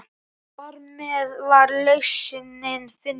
Þarmeð var lausnin fundin.